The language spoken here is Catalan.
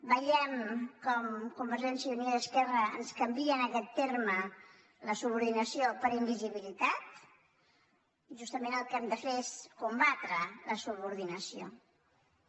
veiem com convergència i unió i esquerra ens canvi·en aquest terme la subordinació per invisibilitat justament el que hem de fer és combatre la subordina·ció i